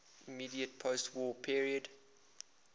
immediate postwar period